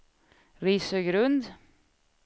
Risögrund